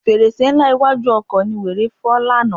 Fèrèsé ńlá iwájú ọkọ̀ ni wèrè fọ́ lánàá.